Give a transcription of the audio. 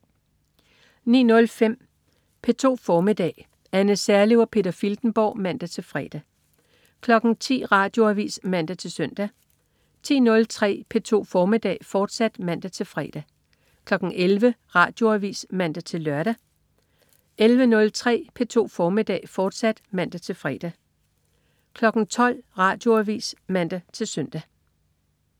09.05 P2 formiddag. Anne Serlev og Peter Filtenborg (man-fre) 10.00 Radioavis (man-søn) 10.03 P2 formiddag, fortsat (man-fre) 11.00 Radioavis (man-lør) 11.03 P2 formiddag, fortsat (man-fre) 12.00 Radioavis (man-søn)